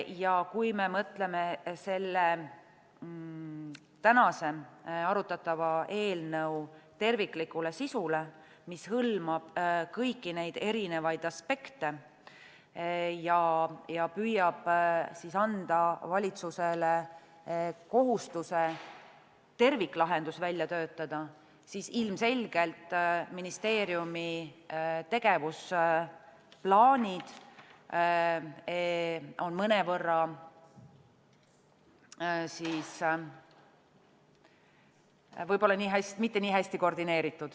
Ja kui me mõtleme selle tänase arutatava eelnõu terviklikule sisule, mis hõlmab kõiki neid erinevaid aspekte ja püüab anda valitsusele kohustuse terviklahendus välja töötada, siis ilmselgelt on ministeeriumi tegevusplaanid võib-olla mitte nii hästi koordineeritud.